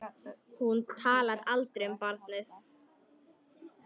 Hún talar aldrei um barnið.